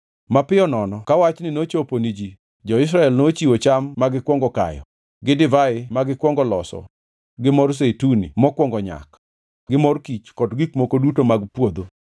Mapiyo nono ka wachni nochopo ni ji, jo-Israel nochiwo cham magikwongo kayo, gi divai magikwongo loso gi mor Zeituni mokwongo nyak gi mor kich kod gik moko duto mag puodho.